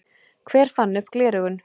Hver fann upp gleraugun?